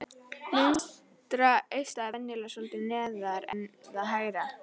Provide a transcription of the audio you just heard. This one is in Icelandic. Vinstra eistað er venjulega svolítið neðar en það hægra.